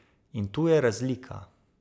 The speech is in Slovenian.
In tu je razlika.